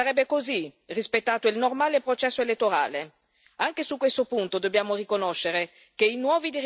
Anche su questo punto dobbiamo riconoscere che i nuovi dirigenti del paese stanno dando segnali positivi.